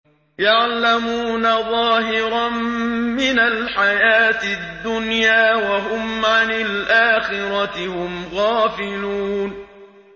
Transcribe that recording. يَعْلَمُونَ ظَاهِرًا مِّنَ الْحَيَاةِ الدُّنْيَا وَهُمْ عَنِ الْآخِرَةِ هُمْ غَافِلُونَ